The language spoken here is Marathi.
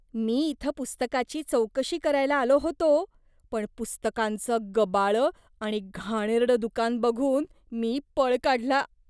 मी इथं पुस्तकाची चौकशी करायला आलो होतो पण पुस्तकांचं गबाळं आणि घाणेरडं दुकान बघून मी पळ काढला.